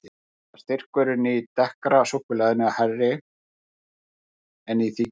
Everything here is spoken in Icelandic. Þó er styrkurinn í dekkra súkkulaðinu hærri en í því hvíta.